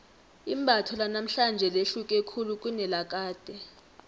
imbatho lanamhlanje lihluke khulu kunelakade